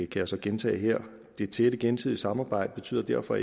jeg så gentage her det tætte gensidige samarbejde betyder derfor